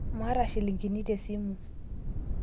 Maata shilingini tesimu